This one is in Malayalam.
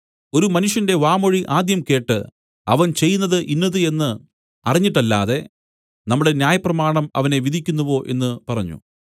ഒരു മനുഷ്യന്റെ വാമൊഴി ആദ്യം കേട്ട് അവൻ ചെയ്യുന്നതു ഇന്നത് എന്നു അറിഞ്ഞിട്ടല്ലാതെ നമ്മുടെ ന്യായപ്രമാണം അവനെ വിധിക്കുന്നുവോ എന്നു പറഞ്ഞു